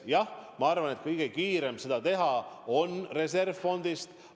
Jah, ma arvan, et kõige kiirem lahendus on teha seda reservfondist.